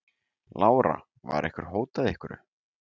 Lára: Var ykkur hótað einhverju?